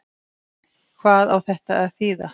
Hvað á þetta að þýða!